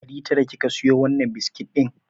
Ɗari tara kika siyo wannan biskit ɗin?